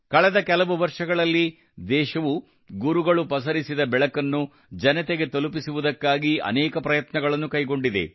ಕಳೆದ ಕೆಲವು ವರ್ಷಗಳಲ್ಲಿ ದೇಶವು ಗುರುಗಳು ಪಸರಿಸಿದ ಬೆಳಕನ್ನು ಜನತೆಗೆ ತಲುಪಿಸುವುದಕ್ಕಾಗಿ ಅನೇಕ ಪ್ರಯತ್ನಗಳನ್ನು ಕೈಗೊಂಡಿದೆ